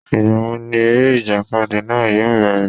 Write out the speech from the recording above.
Ìgbà wo ni eré ìjàkadì náà yóò bẹ̀rẹ̀?